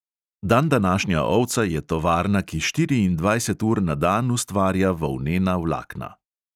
Dandanašnja ovca je tovarna, ki štiriindvajset ur na dan ustvarja volnena vlakna.